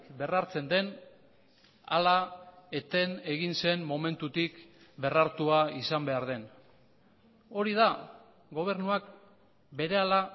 berrartzen den ala eten egin zen momentutik berrartua izan behar den hori da gobernuak berehala